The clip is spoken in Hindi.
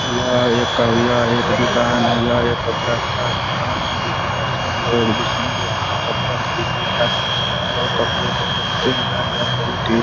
यह एक एक दुकान है। यह एक कपड़ा का दुकान है जिस- जिस- जिसमें लोग- जिसमें लोग कपड़ा खरीदने जाते है और कपड़े को देखते है। ये बहोत ही --